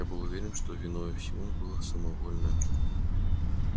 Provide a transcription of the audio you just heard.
я был уверен что виною всему было самовольное